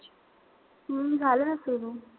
हम्म झालं ना सुरु.